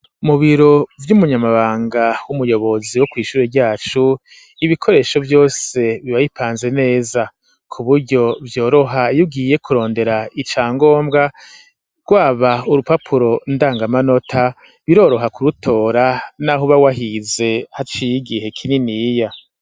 Mu biro vy'umunyamabanga w'umuyobozi wo kw'ishure ryacu, ibikoresho vyose bibabipanze neza, ku buryo vyoroha yugiye kurondera ica ngombwa, rwaba urupapuro ndangamanota biroroha ku rutora n'ahuba wahize haciy'igihe kininiya.